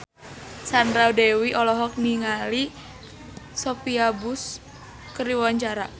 Sandra Dewi olohok ningali Sophia Bush keur diwawancara